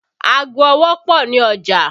Ago ọwọ́ pọ ní ọjà